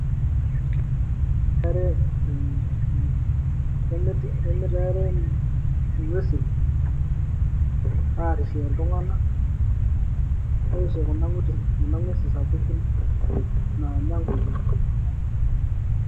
Kemirare um um eng'uesin aarishie iltung'anak nenorishie Kuna nguesi sapuki naanya ingulie